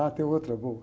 Ah, tem outra boa.